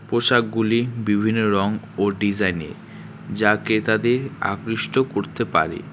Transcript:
পোশাকগুলি বিভিন্ন রং ও ডিজাইনের যা ক্রেতাদের আকৃষ্ট করতে পারে।